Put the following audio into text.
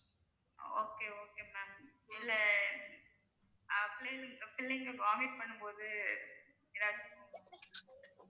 okay okay ma'am இல்ல ஆஹ் பிள்ளைங்க vomit பண்ணும்போது எதாச்சும்